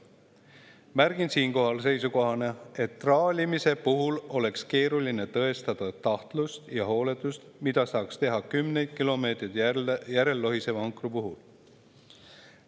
Märgin siinkohal seisukohana, et traalimise puhul oleks keeruline tõestada tahtlust ja hooletust, mida saaks teha kümneid kilomeetreid järel lohiseva ankru puhul.